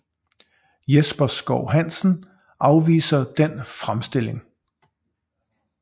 Jesper Schou Hansen afviser den fremstilling